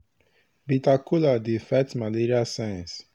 bitter kola dey fight malaria signs.